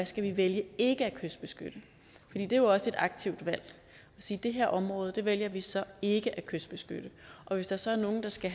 skal vælge ikke at kystbeskytte det er jo også et aktivt valg at sige det her område vælger vi så ikke at kystbeskytte og hvis der så er nogen der skal